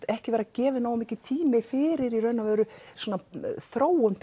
ekki vera gefin nógur tími fyrir raun og veru svona þróun